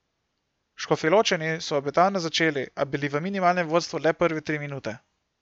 Škofjeločani so obetavno začeli, a bili v minimalnem vodstvu le prve tri minute.